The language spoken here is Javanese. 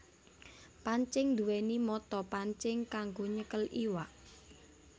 Pancing nduwèni mata pancing kanggo nyekel iwak